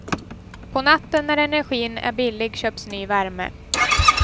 På natten, när energin är billig, köps ny värme.